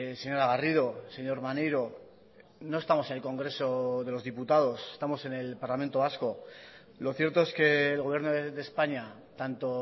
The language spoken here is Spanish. señora garrido señor maneiro no estamos en el congreso de los diputados estamos en el parlamento vasco lo cierto es que el gobierno de españa tanto